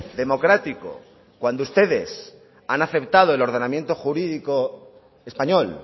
democrático cuando ustedes han aceptado el ordenamiento jurídico español